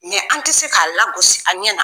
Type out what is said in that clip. an ti se ka lagosi a ɲɛna.